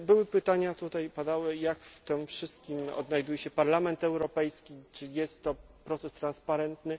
Padały tutaj pytania, jak w tym wszystkim odnajduje się Parlament Europejski, czy jest to proces transparentny.